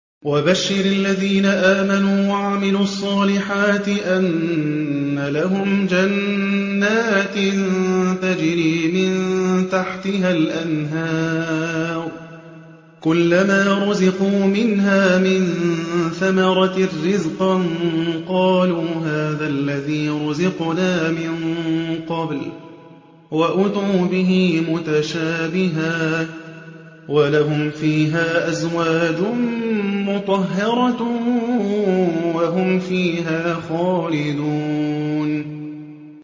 وَبَشِّرِ الَّذِينَ آمَنُوا وَعَمِلُوا الصَّالِحَاتِ أَنَّ لَهُمْ جَنَّاتٍ تَجْرِي مِن تَحْتِهَا الْأَنْهَارُ ۖ كُلَّمَا رُزِقُوا مِنْهَا مِن ثَمَرَةٍ رِّزْقًا ۙ قَالُوا هَٰذَا الَّذِي رُزِقْنَا مِن قَبْلُ ۖ وَأُتُوا بِهِ مُتَشَابِهًا ۖ وَلَهُمْ فِيهَا أَزْوَاجٌ مُّطَهَّرَةٌ ۖ وَهُمْ فِيهَا خَالِدُونَ